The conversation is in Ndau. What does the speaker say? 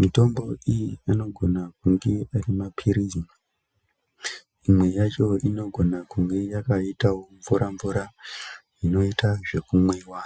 mitombo iyi inogone kunge ari mapirizi imwe yacho inogona kunge yakaitawo mvura mvura inoita zvekumwiwa .